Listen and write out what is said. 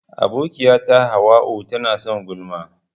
Abokiyata hauwa'u tana son gulma.